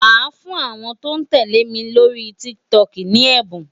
Màá fún àwọn tó ń tẹ̀lé mi lórí TikTok ní ẹ̀bùn.